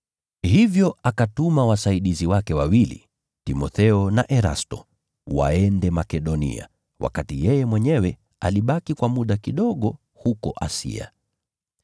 Hivyo akatuma wasaidizi wake wawili, Timotheo na Erasto, waende Makedonia, wakati yeye mwenyewe alibaki kwa muda kidogo huko Asia.